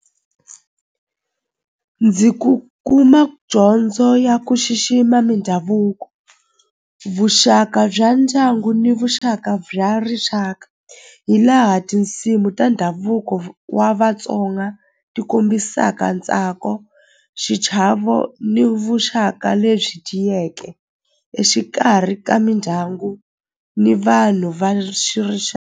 Ndzi ku kuma dyondzo ya ku xixima mindhavuko vuxaka bya ndyangu ni vuxaka bya rixaka hi laha tinsimu ta ndhavuko wa Vatsonga ti kombisaka ntsako xichavo ni vuxaka lebyi tiyeke exikarhi ka mindyangu ni vanhu va .